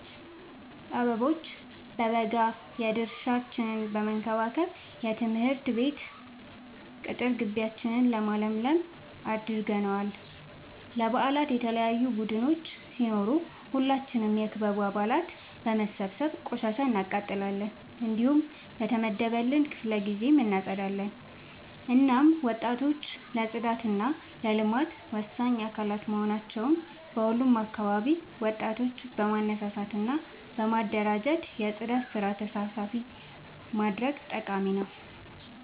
አበቦ በበጋ የድርሻችን በመከባከብ የትምህርት ቤት ቅጥር ጊቢያችን ለምለም አድርገነዋል። ለበአላት የተለያዩ ቡዳዮች ሲኖሩ ሁላችንም የክበቡ አባላት በመሰብሰብ ቆሻሻ እናቃጥላለን። እንዲሁም በየተመደበልን ክፍለ ጊዜ እናፀዳለን። እናም ወጣቶች ለፅዳት እና ለልማት ወሳኝ አካላት በመሆናቸው በሁሉም አካባቢ ወጣቶችን በማነሳሳት እና በማደራጀት የፅዳት ስራ ተሳታፊ ማድረግ ጠቃሚ ነው።